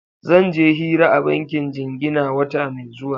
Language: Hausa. Zan je hira a bankin jingina wata mai zuwa.